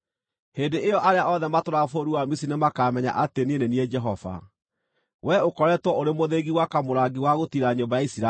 Hĩndĩ ĩyo arĩa othe matũũraga bũrũri wa Misiri nĩmakamenya atĩ niĩ nĩ niĩ Jehova. “ ‘Wee ũkoretwo ũrĩ mũthĩgi wa kamũrangi wa gũtiira nyũmba ya Isiraeli.